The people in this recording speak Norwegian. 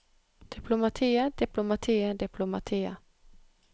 diplomatiet diplomatiet diplomatiet